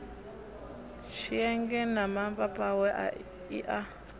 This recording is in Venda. tshienge na mapapawe i a